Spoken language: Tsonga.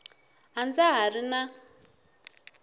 a ndza ha ri na